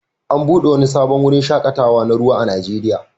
An buɗe wani sabon wurin shaƙatawa na ruwa a Najeriya